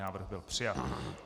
Návrh byl přijat.